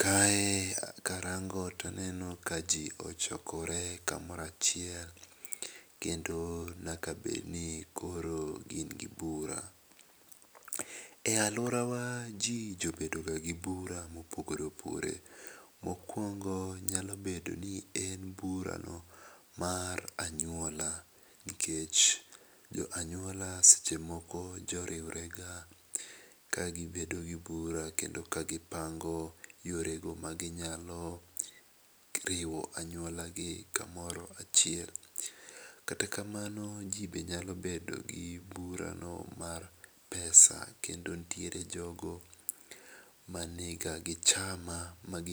Kae ka araango to aneno ka ji ochokore ka moro achile nyaka bed ni koro gin gi bura. E aluora wa ji jabedo ga gi bura ma opogore opogore. Mokuongo nyalo bedo ni en bura no mar anyuola nikech jo anyuola seche moko jo riwre ga ka gi bedo gi bura kendo ka gi pango yore go ma gi nyalo riwo anyuola gi ka moro achiel. Kata kamano ji be nya bedo gi bura no mar pesa kendo nitiere jogo ma ni ga gi chama mag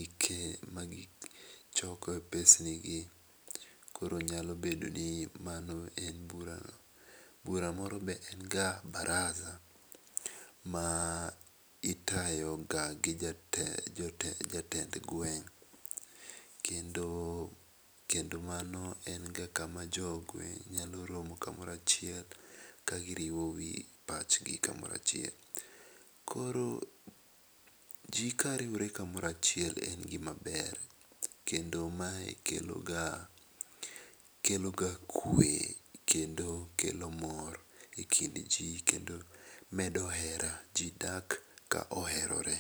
choko e pesni gi .Koro nyalo bedo ni mano en bura no. Bura moro be en ga baraza ma itayo ga gi jatend jatelo jatend gweng kendo mano en be kama jo gweng nya romo ka moro achiel ka gi riwo pach gi ka moro achiel. Koro ji ka riwore ka moro achiel en gi ma ber kendo mae kelo ga kwe kendo kelo mor e e kind ji kendo medo hera ji dak ka oherore.